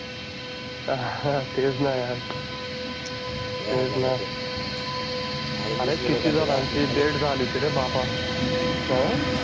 तेच ना यार तेच ना अरे किती जणांची डेड झाली होती रे बाबा अं